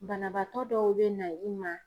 Banabaatɔ dɔw bɛ na i ma